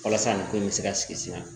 Walasa nin ko in bɛ se ka sigi sen kan